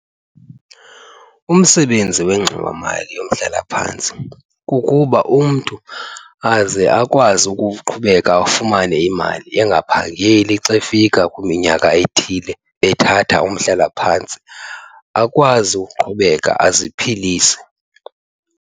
Umsebenzi wengxowamali yomhlalaphantsi kukuba umntu aze akwazi ukuqhubeka afumane imali engaphangeli xa efika kwiminyaka ethile ethatha umhlalaphantsi, akwazi ukuqhubeka aziphilise.